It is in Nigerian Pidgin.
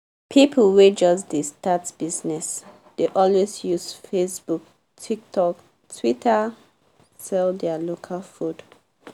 people wey just dey start business dey always use facebook tiktok twitter sell their local food